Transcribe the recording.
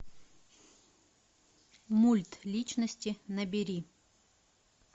мультличности набери